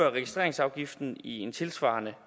at registreringsafgiften i en tilsvarende